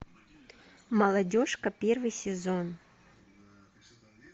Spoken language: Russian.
молодежка первый сезон